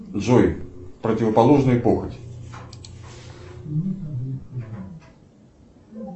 джой противоположный похоти